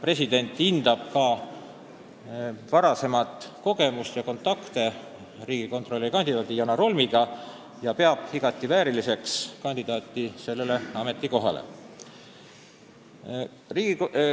President hindab kandidaadi varasemat töökogemust, samuti enda isiklikke kontakte temaga, ning peab teda igati vääriliseks sellele ametikohale.